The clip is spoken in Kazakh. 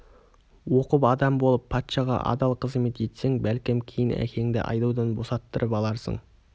оқып адам болып патшаға адал қызмет етсең бәлкім кейін әкеңді айдаудан босаттырып аларсың